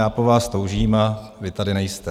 Já po vás toužím a vy tady nejste.